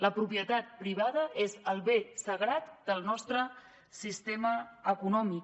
la propietat privada és el bé sagrat del nostre sistema econòmic